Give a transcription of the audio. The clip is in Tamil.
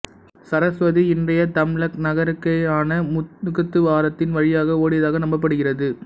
சரஸ்வதி இன்றைய தம்லக் நகருக்கருகேயான முகத்துவாரத்தின் வழியாக ஓடியதாக நம்பப்படுகிறது